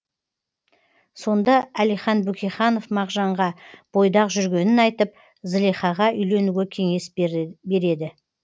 сонда әлихан бөкейханов мағжанға бойдақ жүргенін айтып зылихаға үйленуге кеңес береді